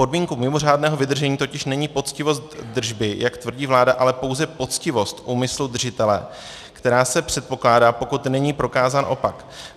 Podmínkou mimořádného vydržení totiž není poctivost držby, jak tvrdí vláda, ale pouze poctivost úmyslu držitele, která se předpokládá, pokud není prokázán opak.